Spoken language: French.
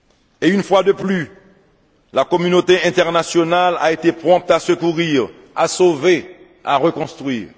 Et, une fois de plus, la communauté internationale a été prompte à secourir, à sauver, à reconstruire.